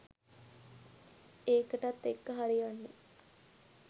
ඒකටත් එක්ක හරියන්න